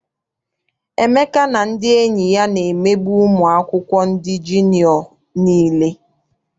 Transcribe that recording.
Emeka na ndị enyi ya na-emegbu ụmụ akwụkwọ ndị jiniọ nile.